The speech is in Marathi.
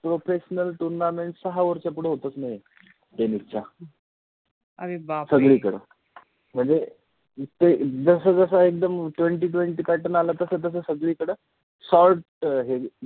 professional tournament सहा OVER च्या पुढे होतच नाहि tennis च्या, अरे बापरे, सगळीकड, ते मनजे जसा जसा एकदम twenty-twenty pattern आला तस तस सगळीकड sort हे अ